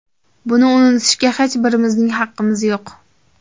Buni unutishga hech birimizning haqqimiz yo‘q.